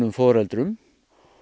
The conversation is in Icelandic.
foreldrum